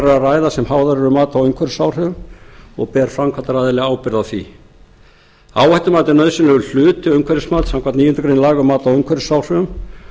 ræða sem háðar eru mati á umhverfisáhrifum og ber framkvæmdaraðili ábyrgð á því áhættumat er nauðsynlegur hluti umhverfismats samkvæmt níundu grein laga um mat á umhverfisáhrifum